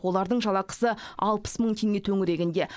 олардың жалақысы алпыс мың теңге төңірегінде